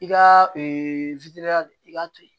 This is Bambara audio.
I ka i k'a to yen